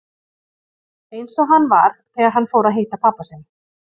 Eins og hann var þegar hann fór að að hitta pabba sinn.